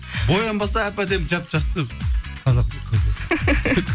боянбаса әп әдемі жап жақсы қазақтың қызы